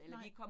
Nej